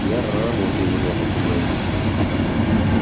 я р-работаю выдал попугай